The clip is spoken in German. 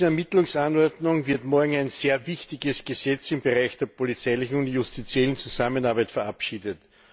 Mit der Europäischen Ermittlungsanordnung wird morgen ein sehr wichtiges Gesetz im Bereich der polizeilichen und justiziellen Zusammenarbeit verabschiedet.